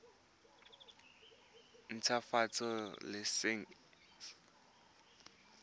ntshwafatsa laesense ya go nna